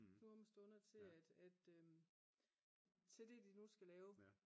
nu om stunder til det de nu skal lave